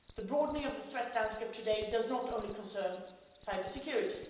The broadening of the threat landscape today does not only concern cybersecurity.